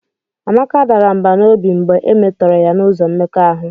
Amaka dara mbà n'obi mgbe e metọrọ ya n'ụzọ mmekọahụ